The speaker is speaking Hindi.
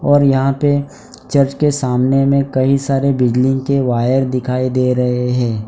और यहाँ पे चर्च उसके सामने में कई सारे बिजली के वायर दिखाई दे रहे हैं।